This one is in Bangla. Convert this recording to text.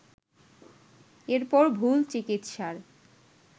এরপর ভুল চিকিৎসার